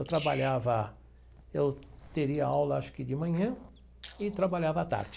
Eu trabalhava, eu teria aula acho que de manhã e trabalhava à tarde.